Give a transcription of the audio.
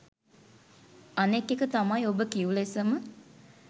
අනෙක් එක තමයි ඔබ කිව් ලෙසම